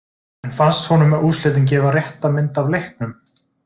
En fannst honum úrslitin gefa rétta mynd af leiknum?